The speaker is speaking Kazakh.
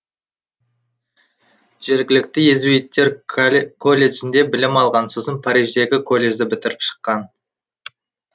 жергілікті иезуиттер колледжінде білім алған сосын париждегі колледжді бітіріп шыққан